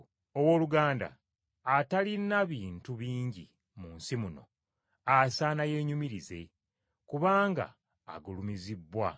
Owooluganda atalina bintu bingi mu nsi muno asaana yeenyumirize, kubanga agulumizibbwa.